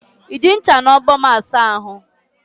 Iji ncha na ogbo m asa ahu?